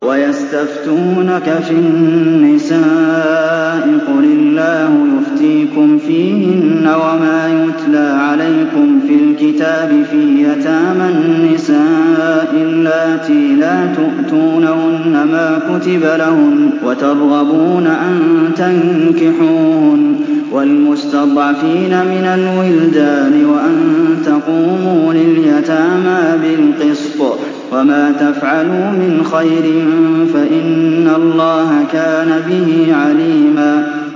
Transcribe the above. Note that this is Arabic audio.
وَيَسْتَفْتُونَكَ فِي النِّسَاءِ ۖ قُلِ اللَّهُ يُفْتِيكُمْ فِيهِنَّ وَمَا يُتْلَىٰ عَلَيْكُمْ فِي الْكِتَابِ فِي يَتَامَى النِّسَاءِ اللَّاتِي لَا تُؤْتُونَهُنَّ مَا كُتِبَ لَهُنَّ وَتَرْغَبُونَ أَن تَنكِحُوهُنَّ وَالْمُسْتَضْعَفِينَ مِنَ الْوِلْدَانِ وَأَن تَقُومُوا لِلْيَتَامَىٰ بِالْقِسْطِ ۚ وَمَا تَفْعَلُوا مِنْ خَيْرٍ فَإِنَّ اللَّهَ كَانَ بِهِ عَلِيمًا